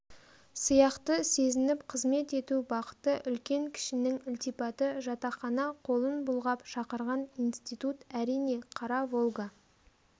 сияқты сезініп қызмет ету бақыты үлкен-кішінің ілтипаты жатақхана қолын бұлғап шақырған институт әрине қара волга